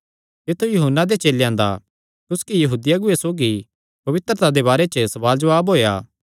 तित्थु यूहन्ना दे चेलेयां दा कुसकी यहूदी अगुऐ सौगी पवित्रता दे बारे च सवाल जवाब होएया